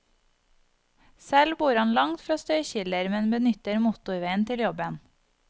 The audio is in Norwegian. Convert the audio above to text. Selv bor han langt fra støykilder, men benytter motorveien til jobben.